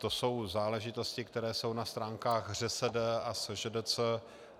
To jsou záležitosti, které jsou na stránkách ŘSD a SŽDC.